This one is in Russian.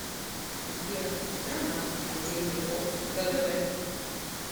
сбер страна отдельный полк кгб